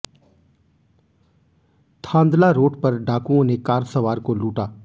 Thandla road पर डाकुओं ने कार सवार को लूटा